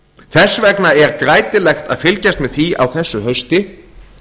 þess vegna er grætilegt að fylgjast með því á þessu hausti